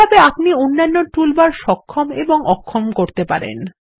একইভাবে আপনি অন্যান্য টুলবার সক্ষম এবং অক্ষম করতে পারবেন